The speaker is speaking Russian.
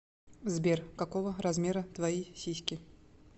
сбер какого размера твои сиськи